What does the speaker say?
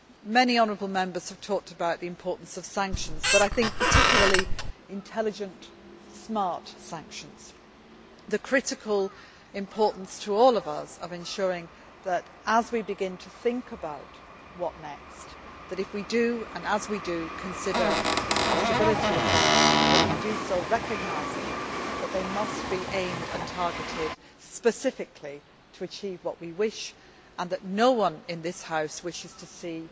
Many Members have talked about the importance of sanctions, but I think particularly intelligent, smart sanctions the critical importance to all of us of ensuring, as we begin to think about what next, and, if we do, and as we do, consider the possibility of sanctions, that we do so recognising that they must be aimed and targeted specifically to achieve what we wish and that no one in this House wishes to see